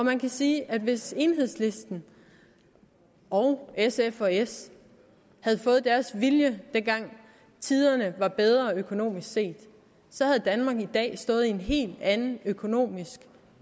man kan sige at hvis enhedslisten og sf og s havde fået deres vilje dengang tiderne var bedre økonomisk set så havde danmark i dag stået i en helt anden økonomisk